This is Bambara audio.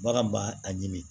Bagan b'a a ɲimi